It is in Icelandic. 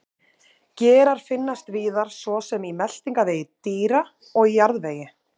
Gerar finnast víðar svo sem í meltingarvegi dýra og í jarðvegi.